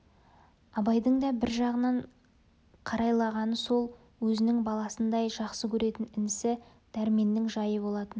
абайдың да бір жағынан қарайлағаны сол өзінің баласындай жақсы көретін інісі дәрменнің жайы болатын